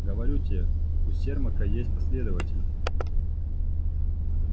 говорю тебе у сермака есть последователи